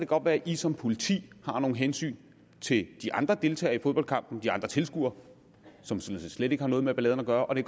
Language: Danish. godt være at i som politi har nogle hensyn til de andre deltagere i fodboldkampen de andre tilskuere som sådan set slet ikke har noget med balladen at gøre og det